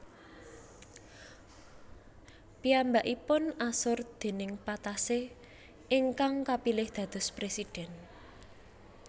Piyambakipun asor déning Patassé ingkang kapilih dados presiden